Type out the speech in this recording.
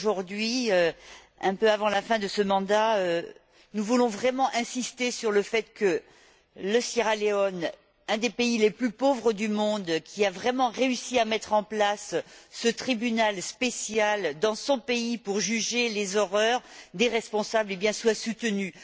Aujourd'hui donc, un peu avant la fin de ce mandat, nous voulons vraiment insister sur le fait que la Sierra Leone un des pays les plus pauvres du monde qui a vraiment réussi à mettre en place ce tribunal spécial pour juger les horreurs des responsables, soit soutenue.